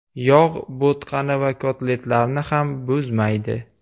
Yog‘ bo‘tqani va kotletlarni ham buzmaydi.